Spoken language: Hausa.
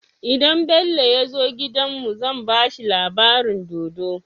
Idan Bello yazo gidan mu zan bashi labarin dodo